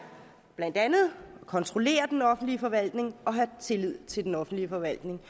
at kontrollere den offentlige forvaltning og have tillid til den offentlige forvaltning